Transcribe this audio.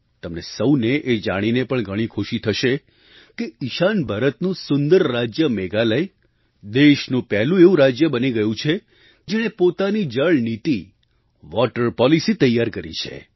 તમને સહુને એ જાણીને પણ ઘણી ખુશી થશે કે ઈશાન ભારતનું સુંદર રાજ્ય મેઘાલય દેશનું પહેલું એવું રાજ્ય બની ગયું છે જેણે પોતાની જળ નીતિ વૉટર પૉલિસી તૈયાર કરી છે